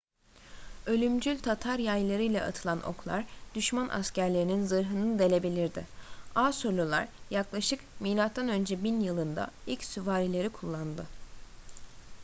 ölümcül tatar yaylarıyla atılan oklar düşman askerlerinin zırhını delebilirdi asurlular yaklaşık mö 1000 yılında ilk süvarileri kullandı